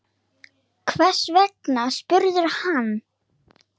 Hvers vegna? spurði hann.